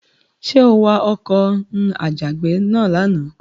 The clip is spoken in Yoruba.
Ṣé o wa ọkọ̀ n'àjàgbé náà lánàá?